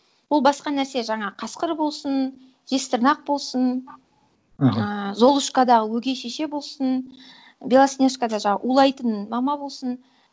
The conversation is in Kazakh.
ол басқа нәрсе жаңағы қасқыр болсын жезтырнақ болсын ыыы золушкадағы өгей шеше болсын белоснежкада улайтын мама болсын